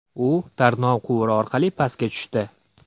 U tarnov quvuri orqali pastga tushdi.